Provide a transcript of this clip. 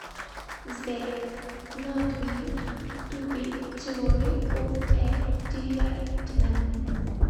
сбер нот минт ту би теори оф э диэдмэн